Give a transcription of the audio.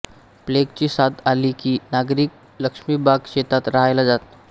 प्लेगची साथ आली की नागरिक लक्ष्मीबाग शेतात राहायला जात